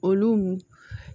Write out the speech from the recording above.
Olu